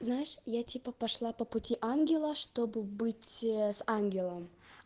знаешь я типа пошла по пути ангела чтобы быть с ангелом